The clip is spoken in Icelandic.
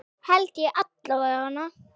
Held ég alla vega.